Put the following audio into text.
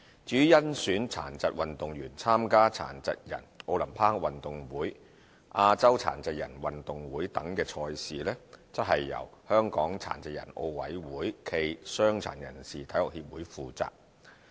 至於甄選殘疾運動員參加殘疾人奧林匹克運動會、亞洲殘疾人運動會等賽事，則由香港殘疾人奧委會暨傷殘人士體育協會負責。